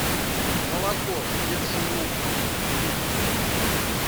молоко бежин луг литр